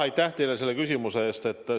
Aitäh teile selle küsimuse eest!